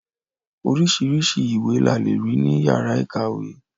Oríṣiríṣi ìwé la lè rí ní yàrá ìkàwé.